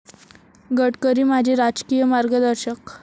गडकरी माझे राजकीय मार्गदर्शक'